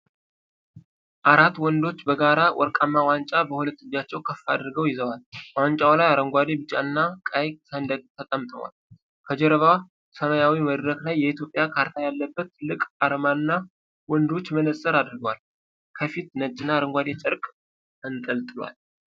አራት ወንዶች በጋራ ወርቃማ ዋንጫ በሁለት እጃቸው ከፍ አድርገው ይዘዋል፣ ዋንጫው ላይ አረንጓዴ፣ ቢጫና ቀይ ሰንደቅ ተጠምጥሟል፤ ከጀርባ ሰማያዊ መድረክ ላይ የኢትዮጵያ ካርታ ያለበት ትልቅ አርማና ወንዶቹ መነጽር አድርገዋል፤ ከፊት ነጭና አረንጓዴ ጨርቅ ተንጠልጥሏል።